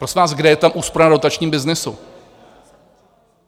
Prosím vás, kde je ta úspora na dotačním byznysu?